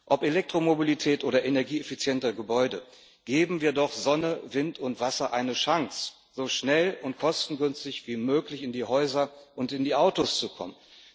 Ob Elektromobilität oder energieeffiziente Gebäude geben wir doch Sonne, Wind und Wasser eine Chance, so schnell und kostengünstig wie möglich in die Häuser und in die Autos zu kommen.